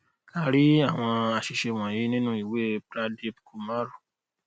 a rí àwọn àṣìṣe wọnyí nínu ìwe pradeep kumar